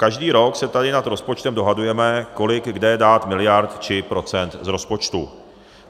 Každý rok se tady nad rozpočtem dohadujeme, kolik kde dát miliard či procent z rozpočtu.